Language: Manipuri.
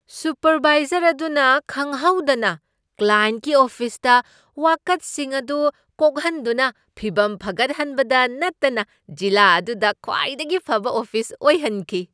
ꯁꯨꯄꯔꯕꯥꯏꯖꯔ ꯑꯗꯨꯅ ꯈꯪꯍꯧꯗꯅ ꯀ꯭ꯂꯥꯌꯦꯟꯠꯀꯤ ꯑꯣꯐꯤꯁꯇ ꯋꯥꯀꯠꯁꯤꯡ ꯑꯗꯨ ꯀꯣꯛꯍꯟꯗꯨꯅ ꯐꯤꯕꯝ ꯐꯒꯠꯍꯟꯕꯗ ꯅꯠꯇꯅ ꯖꯤꯂꯥ ꯑꯗꯨꯗ ꯈ꯭ꯋꯥꯏꯗꯒꯤ ꯐꯕ ꯑꯣꯐꯤꯁ ꯑꯣꯏꯍꯟꯈꯤ ꯫